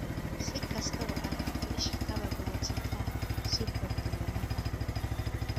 Si kastaba ha ahaatee, shaqada borotiinkan si buuxda looma fahmin.